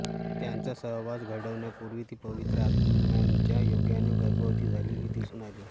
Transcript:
त्यांचा सहवास घडण्यापूर्वी ती पवित्र आत्म्याच्या योगाने गर्भवती झालेली दिसून आली